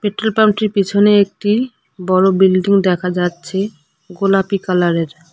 পেট্রোলপাম্পটির পিছনে একটি বড় বিল্ডিং দেখা যাচ্ছে গোলাপি কালারের।